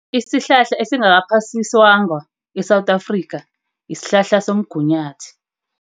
Isihlahla esingaphasiswangwa eSewula Afrika, isihlahla somgunyathi.